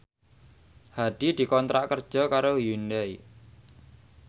Hadi dikontrak kerja karo Hyundai